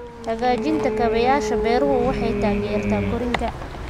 Hagaajinta kaabayaasha beeruhu waxay taageertaa korriinka.